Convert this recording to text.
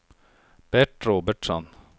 Bert Robertsson